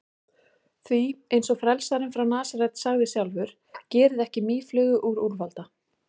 Því, eins og frelsarinn frá Nasaret sagði sjálfur: Gerið ekki mýflugu úr úlfalda.